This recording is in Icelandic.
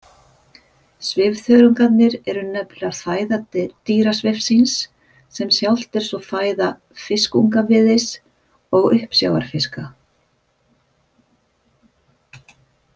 Svifþörungarnir eru nefnilega fæða dýrasvifsins, sem sjálft er svo fæða fiskungviðis og uppsjávarfiska.